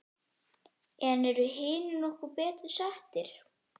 En eru hinir nokkru betur settir?